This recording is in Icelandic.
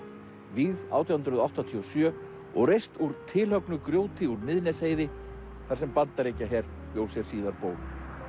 vígð átján hundruð áttatíu og sjö og reist úr grjóti úr Miðnesheiði þar sem Bandaríkjaher bjó sér síðar ból